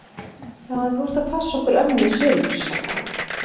Já en þú ert að passa okkur ömmu í sumar! sagði afi.